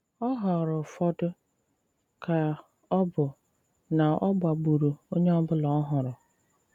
Ọ̀ họ̀ọrọ ụfọdụ, ka ọ̀ bụ ná ọ̀gbà gbùrù onye ọ̀bụ̀la ọ̀hụrụ